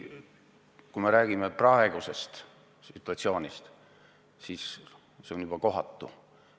Kui me räägime praegusest situatsioonist, siis see on juba kohatu.